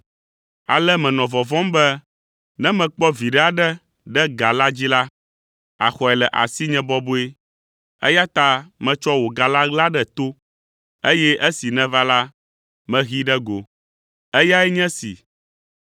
ale menɔ vɔvɔ̃m be ne mekpɔ viɖe aɖe ɖe ga la dzi la, àxɔe le asinye bɔbɔe, eya ta metsɔ wò ga la ɣla ɖe to, eye esi nèva la, mehee ɖe go. Eyae nye esi.’